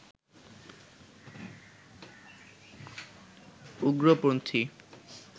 উগ্রপন্থী